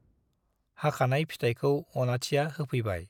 हाखानाय फिथायखौ अनाथिया होफैबाय ।